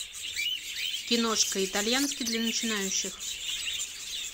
киношка итальянский для начинающих